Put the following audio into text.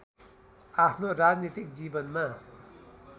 आफ्नो राजनीतिक जीवनमा